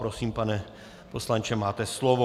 Prosím, pane poslanče, máte slovo.